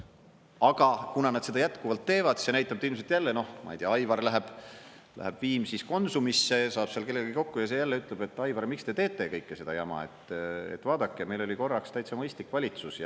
Aga kuna nad seda jätkuvalt teevad, see näitab, et ilmselt jälle, noh, ma ei tea, Aivar läheb Viimsis Konsumisse, saab seal kellegagi kokku ja see jälle ütleb, et Aivar, miks te teete kõike seda jama, vaadake, meil oli korraks täitsa mõistlik valitsus.